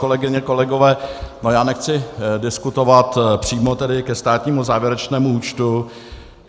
Kolegyně, kolegové, já nechci diskutovat přímo ke státnímu závěrečnému účtu.